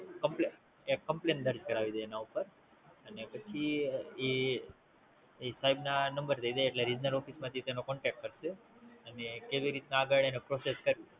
Complain કરી દેવામાં આવી, અને Action લઇ